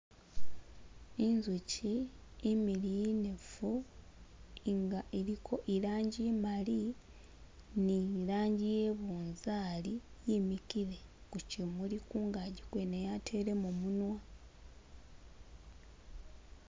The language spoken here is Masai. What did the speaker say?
Inzuki imiliyu inefu nga ilikho ilangi imali ne ilangi iye nabunzari yimikile ku kimuli kungaki kwene yatelemo munwa